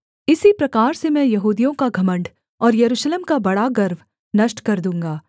इसी प्रकार से मैं यहूदियों का घमण्ड और यरूशलेम का बड़ा गर्व नष्ट कर दूँगा